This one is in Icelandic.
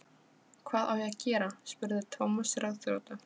Hvað á ég að gera? spurði Thomas ráðþrota.